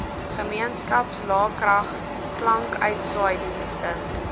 gemeenskaps laekrag klankuitsaaidienste